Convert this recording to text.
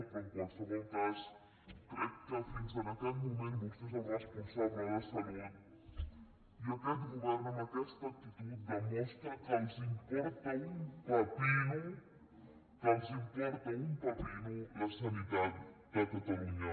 però en qualsevol cas crec que fins a aquest moment vostè és el responsable de salut i aquest govern amb aquesta actitud demostra que els importa un pepino que els importa un pepino la sanitat de catalunya